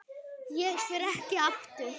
Ég fer ekki aftur.